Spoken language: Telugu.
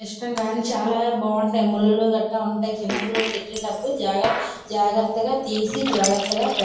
ఇష్టంగా చాలా బావుంటాయ్ ముళ్ళులు కట ఉంటాయ్ చిన్న పిల్లలకు పెట్టప్పుడు చాలా జాగ్రత్తగా తీసి జాగ్రత్తగా పెట్టాలి.